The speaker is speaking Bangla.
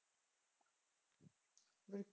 উম